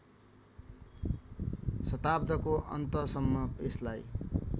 शताब्दको अन्तसम्म यसलाई